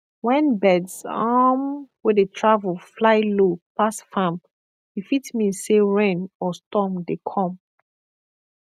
when birds um wey dey travel fly low pass farm e fit mean say rain or storm dey come